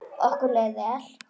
Okkur leið vel.